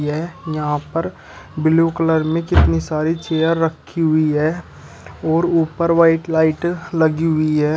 यह यहां पर ब्लू कलर में कितनी सारी चेयर रखी हुई है है और ऊपर व्हाइट लाइट लगी हुई है।